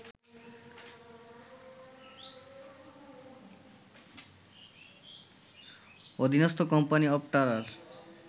অধীনস্ত company অপটারার